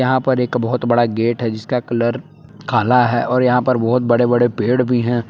यहां पर एक बहुत बड़ा गेट है जिसका कलर काला है और यहां पर बहुत बड़े बड़े पेड़ भी हैं।